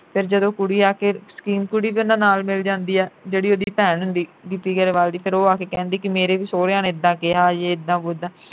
ਫਿਰ ਜਦੋਂ ਕੁੜੀ ਆ ਕੇ ਸਕੀਮ ਕੁੜੀ ਵੀ ਉਨ੍ਹਾਂ ਨਾਲ ਮਿਲ ਜਾਂਦੀ ਆ ਜਿਹੜੀ ਉਹਦੀ ਭੈਣ ਹੁੰਦੀ ਗਿੱਪੀ ਗਰੇਵਾਲ ਦੀ ਫਿਰ ਉਹ ਕੇ ਕਹਿੰਦੀ ਕਿ ਮੇਰੇ ਵੀ ਸਹੁਰਿਆਂ ਨੇ ਇੱਦਾ ਕਿਹਾ ਯੇ ਇੱਦਾਂ ਓਦਾਂ